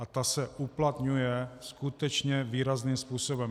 A ta se uplatňuje skutečně výrazným způsobem.